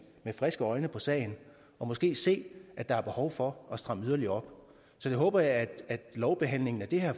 friske øjne på sagen og måske se at der er behov for at stramme yderligere op så jeg håber at lovbehandlingen af det her